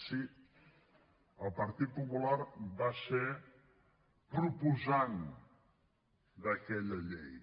sí el partit popular va ser proposant d’aquella llei